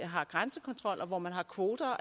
har grænsekontrol og hvor man har kvoter